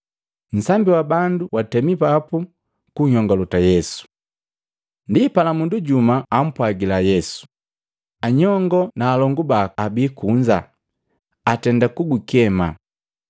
Nsambi wa bandu watemi papu kunyongolota Yesu. Ndipala mundu jumu ampwagila Yesu, “Anyongo na alongu baku abii kunza, atenda kugukema.”